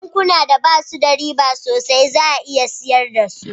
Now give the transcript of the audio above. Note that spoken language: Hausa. Bankuna da basu da riba sosai za a iya sayar da su